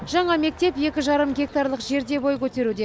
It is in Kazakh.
жаңа мектеп екі жарым гектарлық жерде бой көтеруде